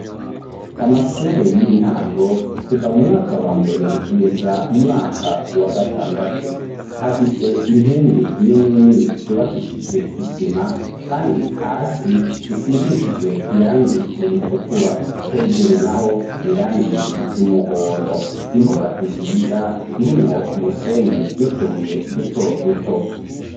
Amashure y'intango kuva mu mwaka wa mbere ,kugeza mu mwaka wa gatandatu ,afise inkingi nininini zubakishijwe isima, kandi hasi zisigisijwe irangi iritukura, hejuru naho irangi ry'umuhondo, imbuga nziza irimwo umusenyi nutubuye duto duto.